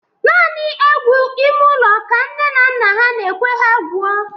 Nani egwu ịme ụlọ ka nne na nna ha n'ekwe ha gwuo